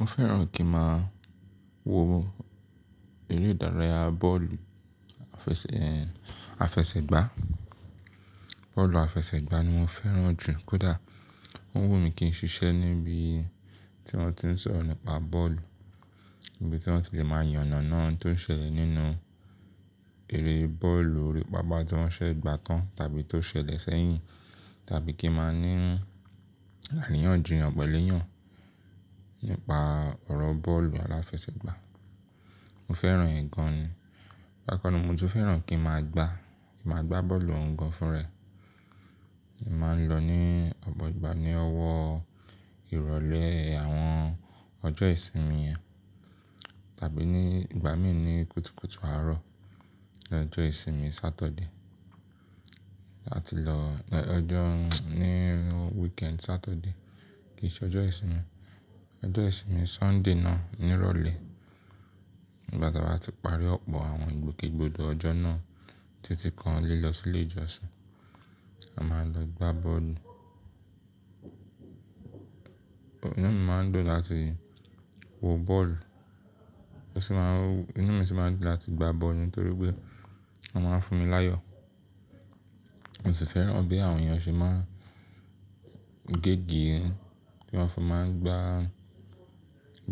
Mo fẹ́ràn kí n máa wo eré ìdárayá bọ́ọ̀lù àfẹsẹ̀, àfẹsẹ̀gbá. Bọ́ọ̀lù àfẹsẹ̀gbá ni mo fẹ́ràn jù kódà o wù mí kí n ṣiṣẹ́ níbi tí wọ́n ti ń sọ̀rọ̀ nípa bọ́ọ̀lù, ibi tí wọ́n ti lè máa yànàna ohun tó ṣẹlẹ̀ nínú eré bọ́ọ̀lù, orí pápá tí wọ́n ṣẹẹ gbà kan tàbí tó ṣẹlẹ̀ sẹ́yìn tàbí kí n máa ní àríyànjiyàn pẹ̀lú èèyàn. Nípa ọ̀rọ̀ bọ́ọ̀lù aláfẹsẹ̀gbá. Mo fẹ́ràn ẹ gan ni, bákanna mo tún fẹ́ràn kí n máa gbá, kí n máa gbá bọ́ọ̀lù ọun gan fúnra ẹ̀. Mo máa ń lọ ní ọ̀pọ̀ ìgbà ní ọwọ́ ìrọ̀lẹ́ àwọn ọjọ́ ìsinmi yẹn tàbí ní ìgbà míì ní kùtùkùtù àárọ̀ lọ́jọ́ ìsinmi Saturday. Àti lọ lọ́jọ́ ní weekend Saturday kì í ṣe ọjọ́ ìsinmi. Ọjọ́ ìsinmi Sunday náà ni ìrọ̀lẹ́ nígbà tí a bá ti parí ọ̀pọ̀ àwọn ìgbòkègbodò ọjọ́ náà títí kan liọ sílé ìjọsìn, a máa lọ gbá bọ́ọ̀lù. Inú mi máa ń dùn láti wo bọ́ọ̀lù, ó sì máa ń, inú mi sì máa ń dùn láti gbá bọ́ọ̀lù nítorí pé wọ́n máa ń fún mi láyọ̀. Mo sì fẹ́ràn bí àwọn èèyàn ṣe máa ń gégée bí wọ́n fi máa ń gbá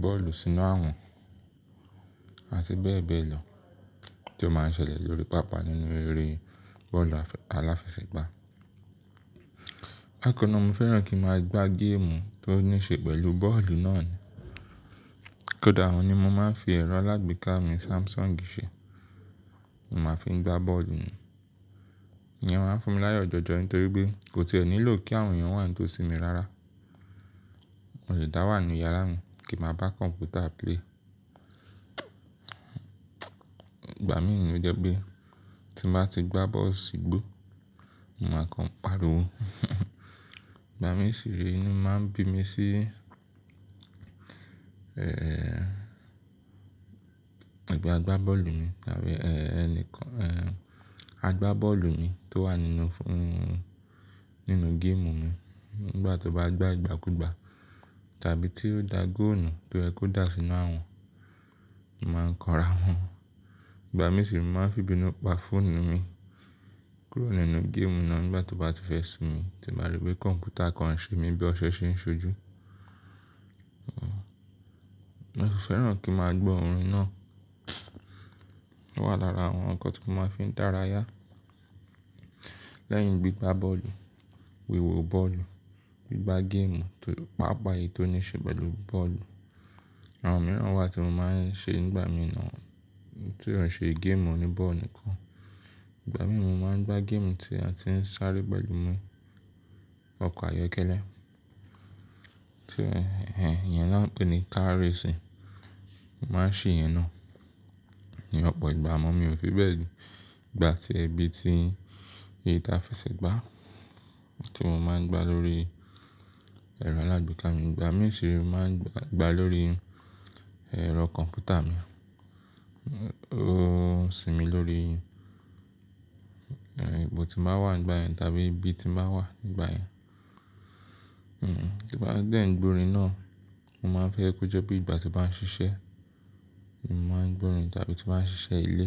bọ́ọ̀lù sínú àwọ̀n àti bẹ́ẹ̀ bẹ́ẹ̀ lọ tí ó máa ń ṣẹlẹ̀ lórí pápá nínú eré bọ́ọ̀lù àfẹ-aláfẹsẹ̀gbá. Bákanna mo fẹ́ràn kí n máa gbá géèmù tó ní ṣe pẹ̀lú bọ́ọ̀lù náà ni. Kódà ohun ni mo máa ń fi ẹ̀rọ alágbèéká mi Samsung ṣe. Mo máa fi ń gbá bọ́ọ̀lù ni. Ìyẹn máa ń fún mi láyọ̀ jọjọ nítorí pé kò tiẹ̀ nílò kí àwọn èèyàn wà nítòsí mi rárá. Mo le dà wá nínú yàrá mi kí n máa bá kọ̀ǹpútà play. Ìgbà míì ní ó jẹ́ pé tí n bà ti gbá bọ́ọ̀lù sígbó, màá kan pàriwo. Ìgbà mií sì re inú máa ń bi mí sí, ẹ́ẹ́, ẹgbẹ́ àgbá bọ́ọ̀lù mi tàbí ẹ́ẹ́ ẹni kan, ẹ́ẹ́, àgbá bọ́ọ̀lù mi tó wà nínú fóònù, nínú géèmù mi nígbà tó bá gbá ìgbàkúgbà tàbí tí ó da góòlù nu tó yẹ́ kó dà sínú àwọ̀n, mo màá ń kanra mọ wọn. Ìgbà míì sì máa ń fi ìbínú pa fóònù mi kúrò nínú géèmù náà nígbà tó bá ti fẹ́ su mi tí n bà rí pé kọ̀ǹpútà kan ń ṣe mí bí ọṣẹ ṣe ń ṣojú. Mo sì fẹ́ràn kí n máa gbọ́ orin náà. Ó wà lára àwọn ǹkan tí mo máa fi ń dára yá. Lẹ́yìn gbígbá bọ́ọ̀lù, wéwo bọ́ọ̀lù, gbígbá géèmù tó, pápá èyí tó ní ṣe pẹ̀lú bọ́ọ̀lù. Àwọn mìíràn wà tí mo máa ń ṣe nígbà míì náà tí ò ń ṣe géèmù oní bọ́ọ̀lù nìkan. Ìgbà míì mo máa ń gbá géèmù tí a ti ń sáré pẹ̀lú mọ́, ọkọ̀ ayọ́kẹ́lẹ́, tí ẹ́ẹn, ìyẹn niwọ́n ń pè ní car racing. Mo máa ń ṣe ìyẹn náà ní ọ̀pọ̀ ìgbà. Àmọ́ mi ò fi bẹ́ẹ̀ gbà tíẹ bí ti, èyí táa fẹsẹ̀ gbá tí mo máa ń gbá lórí ẹ̀rọ alágbèéká mi. Ìgbà míì siire máa ń gbá, gbá lórí ẹ̀rọ kọ̀ǹpútà mi. Ó sinmi lórí, ẹ́ẹ́, ipò tí mo bà wà nígbà yẹn tàbí ibi tí bà wà nígbà yẹn. Hmm, tí mo n ba dẹ ń gbọ́ orin náà, mo máa ń fẹ́ kí ó jọ bí ìgbà tí màá ń ṣiṣẹ́, mo máa ń gbọ́ orin tàbí tí màá ń ṣiṣẹ́ ilé.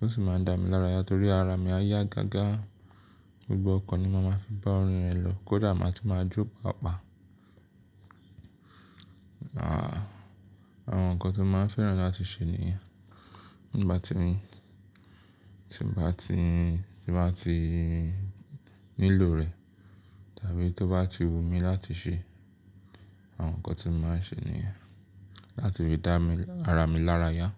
Ó sì máa ń dà mí lára ya torí ara mi á yá gágá, gbogbo ọkàn ni mo máa fi bá orin rẹ̀ lọ kódà màá tún máa jó pàápàá àwọn ǹkan tí mo máa ń fẹ́ràn láti ṣe nìyẹn. Tí mí o bati ni, tí n bà ti, tí n bà ti nílò rẹ̀ tàbí tó bá ti wù mí láti ṣe, àwọn ǹkan tí màá ń ṣe nìyẹn láti lè dá mi, ara mi lára yá.